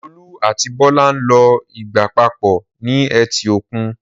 Olú àti Bọ́lá ń lo ìgbà papọ̀ ní etí òkun.